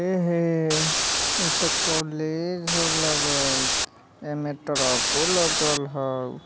एहे इ ते कॉलेज हाउ लगे ए में ट्रको लगल हाउ।